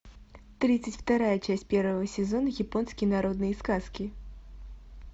тридцать вторая часть первого сезона японские народные сказки